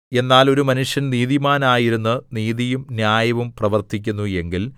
എന്നാൽ ഒരു മനുഷ്യൻ നീതിമാനായിരുന്ന് നീതിയും ന്യായവും പ്രവർത്തിക്കുന്നു എങ്കിൽ